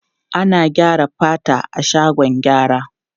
Ana gyara fata a shagon gyara.